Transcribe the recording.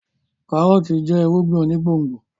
kárọ́ọ̀tì jẹ́ irúgbìn onígbòǹgbò